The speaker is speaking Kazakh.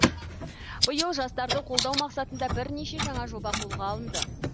биыл жастарды қолдау мақсатында бірнеше жаңа жоба қолға алынды